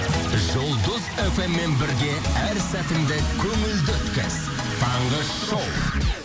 жұлдыз фм мен бірге әр сәтіңді көңілді өткіз таңғы шоу